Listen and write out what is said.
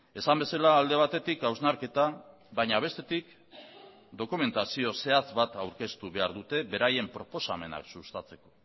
esan bezala alde batetik hausnarketa baina bestetik dokumentazio zehatz bat aurkeztu behar dute beraien proposamenak sustatzeko